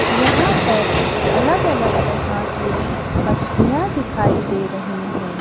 यहाँ पर अलग अलग तरह की मछलियाँ दिखाई दे रही हैं।